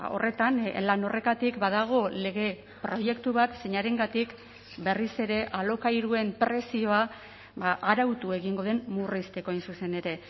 horretan lan horretatik badago lege proiektu bat zeinarengatik berriz ere alokairuen prezioa arautu egingo den murrizteko hain zuzen ere